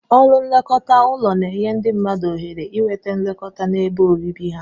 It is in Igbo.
Ọrụ nlekọta ụlọ na-enye ndị mmadụ ohere inweta nlekọta n'ebe obibi ha.